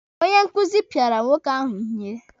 Onye nkụzi pịara nwoke ahụ ihe.